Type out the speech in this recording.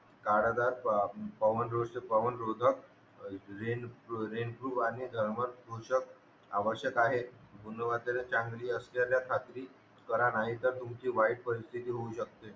कारःजात rain rain proof आणि सहमत वृक्षभआ आवश्यक आहेत गुणून वगैरे चांगली असेलेल्या सातवीकरा नाही तर तुमची वाईट परिस्तिथी होवू शकते